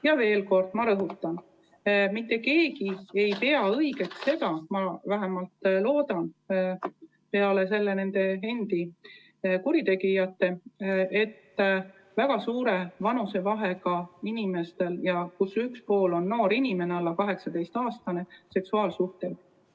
Ma veel kord rõhutan, et mitte keegi ei pea õigeks – ma vähemalt loodan –, peale kurjategijate endi, et väga suure vanusevahega inimeste vahel, kellest üks pool on noor, alla 18-aastane inimene, on seksuaalsuhted.